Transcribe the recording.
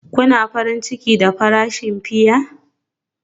Kuna farin ciki da farashin fiya?